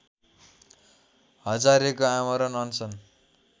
हजारेको आमरण अनसन